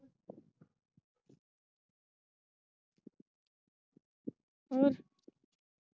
ਹੋਰ?